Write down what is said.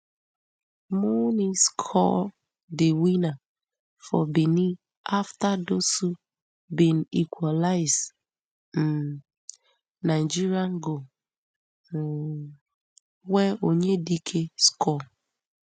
mounni score di winner for benin afta dossou bin equalise um nigeria goal um wey onyedike score